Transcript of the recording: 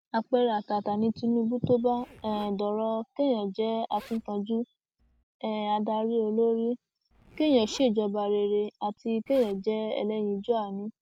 àpẹẹrẹ àtàtà ni tinubu tó bá um dọrọ kéèyàn jẹ akínkanjú um adarí olórí kéèyàn ṣèjọba rere àti kéèyàn jẹ ẹlẹyinjúànú